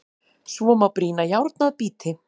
Svo má brýna járn að bíti.